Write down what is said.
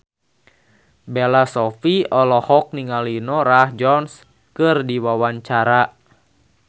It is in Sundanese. Bella Shofie olohok ningali Norah Jones keur diwawancara